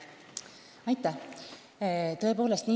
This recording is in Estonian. Aitäh!